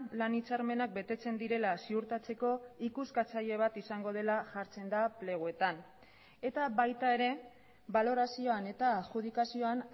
lan hitzarmenak betetzen direla ziurtatzeko ikuskatzaile bat izango dela jartzen da pleguetan eta baita ere balorazioan eta adjudikazioan